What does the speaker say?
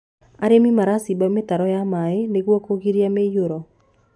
arĩmi maracimba mitaro ya maĩ nĩguo kugiria muiyuro